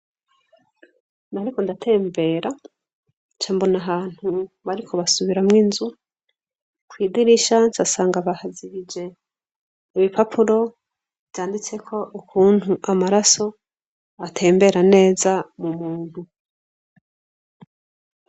Nariko ndatembera cambona ahantu bariko basubiramwo inzu kw'idirishancu asanga bahazigije ibipapuro yanditseko ukuntu amaraso atembera neza mu muntu.